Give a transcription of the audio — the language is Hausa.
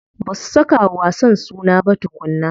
Ba su saka wa wasan suna ba tukunna.